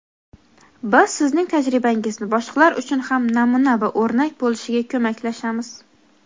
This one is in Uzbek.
Biz sizning tajribangizni boshqalar uchun ham namuna va o‘rnak bo‘lishiga ko‘maklashamiz.